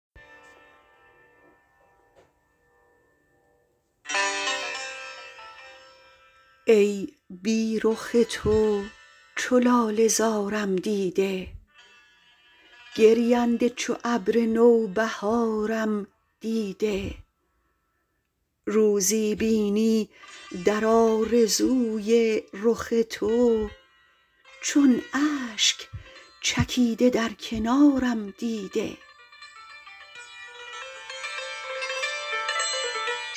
ای بی رخ تو چو لاله زارم دیده گرینده چو ابر نوبهارم دیده روزی بینی در آرزوی رخ تو چون اشک چکیده در کنارم دیده